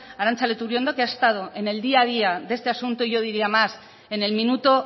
arantza leturiondo que ha estado en el día a día de este asunto y yo diría más en el minuto